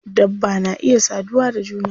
Dabba na iya saduwa da juna.